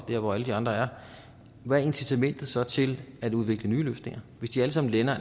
der hvor alle de andre er hvad er incitamentet så til at udvikle nye løsninger hvis de alle sammen